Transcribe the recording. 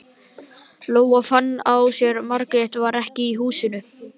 Lóa fann á sér að Margrét var ekki í húsinu.